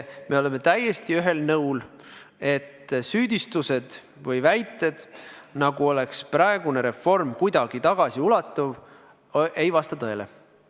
Me oleme täiesti ühel nõul, et süüdistused või väited, nagu oleks praegune reform kuidagi tagasiulatuv, ei vasta tõele.